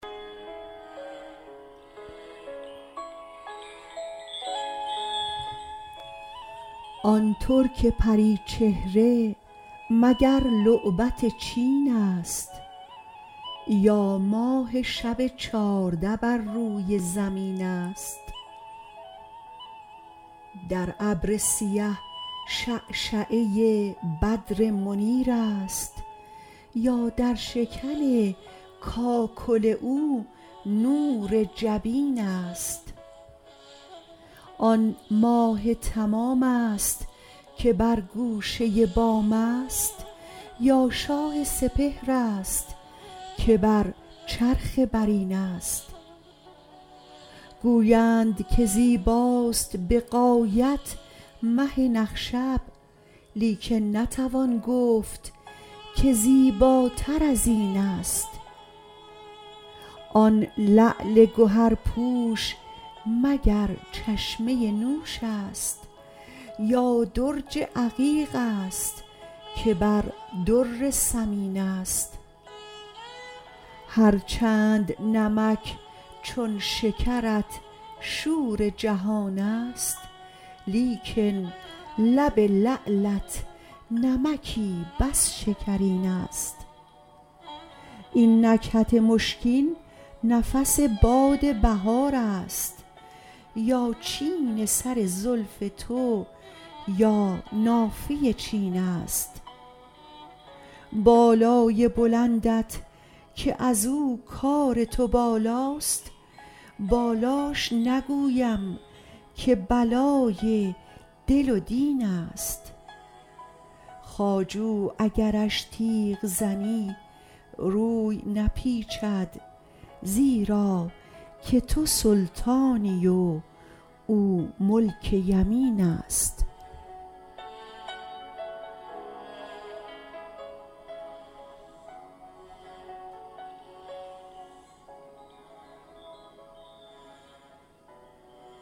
آن ترک پریچهره مگر لعبت چینست یا ماه شب چارده بر روی زمینست در ابر سیه شعشعه ی بدر منیرست یا در شکن کاکل او نور جبینست آن ماه تمامست که بر گوشه بامست یا شاه سپهرست که بر چرخ برینست گویند که زیباست بغایت مه نخشب لیکن نتوان گفت که زیباتر از اینست آن لعل گهرپوش مگر چشمه ی نوشست یا درج عقیقست که بر در ثمینست هر چند نمک چون شکرت شور جهانیست لیکن لب لعلت نمکی بس شکرینست این نکهت مشکین نفس باد بهارست یا چین سر زلف تو یا نافه ی چینست بالای بلندت که ازو کار تو بالاست بالاش نگویم که بلای دل و دینست خواجو اگرش تیغ زنی روی نپیچد زیرا که تو سلطانی و او ملک یمینست